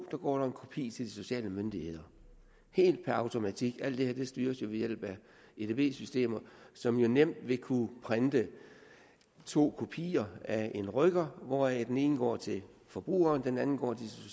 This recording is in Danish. går en kopi til de sociale myndigheder helt per automatik alt det her styres jo ved hjælp af edb systemer som nemt vil kunne printe to kopier af en rykker hvoraf den ene går til forbrugeren og den anden går